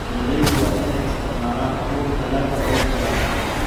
Beeraleydu waa inay isticmaalaan abuur dalagga ugu wanaagsan.